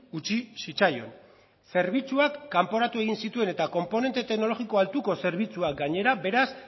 utzi zitzaion zerbitzuak kanporatu egin zituen eta konponente teknologiko altuko zerbitzuak gainera beraz